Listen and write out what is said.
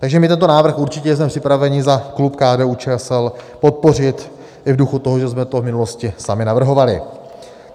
Takže my tento návrh určitě jsme připraveni za klub KDU-ČSL podpořit i v duchu toho, že jsme to v minulosti sami navrhovali.